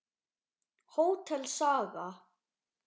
Hótel Saga.